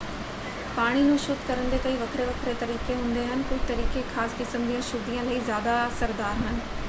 ਪਾਣੀ ਨੂੰ ਸ਼ੁੱਧ ਕਰਨ ਦੇ ਕਈ ਵੱਖਰੇ-ਵੱਖਰੇ ਤਰੀਕੇ ਹੁੰਦੇ ਹਨ ਕੁਝ ਤਰੀਕੇ ਖ਼ਾਸ ਕਿਸਮ ਦੀਆਂ ਅਸ਼ੁੱਧੀਆਂ ਲਈ ਜ਼ਿਆਦਾ ਅਸਰਦਾਰ ਹਨ।